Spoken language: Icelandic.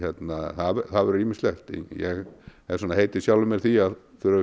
það verður ýmislegt ég hef heitið sjálfum mér því að þurfa